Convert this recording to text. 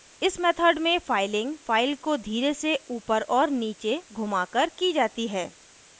इस मेथड में filing file को धीरे से ऊपर और नीचे घुमाकर की जाती है